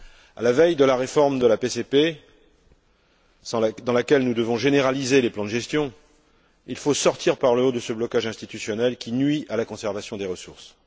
À la veille de la réforme de la PCP, dans laquelle nous devons généraliser les plans de gestion, il faut sortir par le haut de ce blocage institutionnel qui nuit à la conservation des ressources.